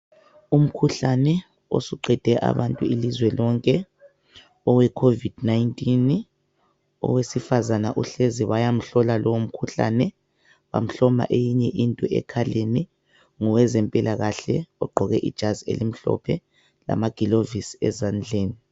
Umkhuhlane osuqede abantu ilizwe lonke owe covid 19, owesifazana uhlezi bayamhlola lowomkhuhlane bamhloma eyinye into ekhaleni, ngowezempilakahle ogqoke ijazi elimhlophe lamagilovisi ezandleni.